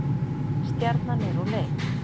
Stjarnan er úr leik